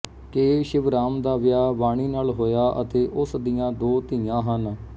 ਕੇ ਸ਼ਿਵਰਾਮ ਦਾ ਵਿਆਹ ਵਾਣੀ ਨਾਲ ਹੋਇਆ ਹੈ ਅਤੇ ਉਸ ਦੀਆਂ ਦੋ ਧੀਆਂ ਹਨ